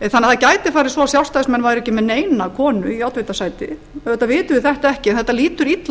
það gæti því farið að svo að sjálfstæðismenn væru ekki með neina konu í oddvitasæti auðvitað vitum við þetta ekki en þetta lítur illa